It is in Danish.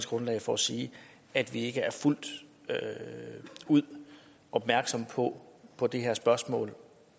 grundlag for at sige at vi ikke er fuldt ud opmærksomme på på det her spørgsmål